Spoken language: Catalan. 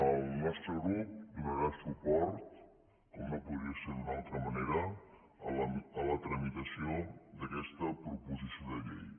el nostre grup donarà suport com no podria ser d’una altra manera a la tramitació d’aquesta proposició de llei